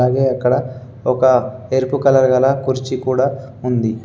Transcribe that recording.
అలాగే అక్కడ ఒక ఎరుపు కలర్ గల కుర్చీ కుడా ఉంది.